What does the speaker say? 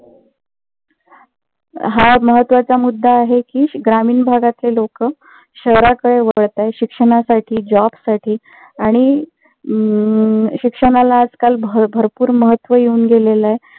हा महत्वाचा मुद्दा आहे कि ग्रामीण भागातील लोक शहराकडे वळत आहेत. शिक्षणासाठी job साठी आणि अं शिक्षणाला आजकाल भरपूर महत्व येवून गेलेलं आहे.